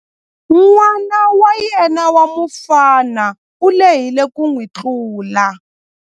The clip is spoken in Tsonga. N'wana wa yena wa mufana u lehile ku n'wi tlula.